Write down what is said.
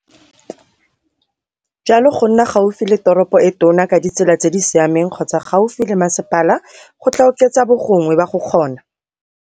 Jalo, go nna gaufi le toropo e tona ka ditsela tse di siameng kgotsa gaufi le masepala go tlaa oketsa bogongwe ba go kgona.